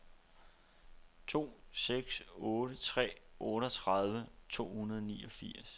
to seks otte tre otteogtredive to hundrede og niogfirs